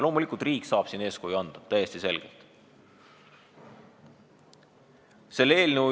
Loomulikult saab riik siin täiesti selgelt eeskuju anda.